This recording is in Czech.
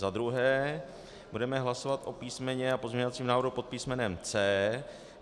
Za druhé budeme hlasovat o písmenu a pozměňovacím návrhu pod písmenem C.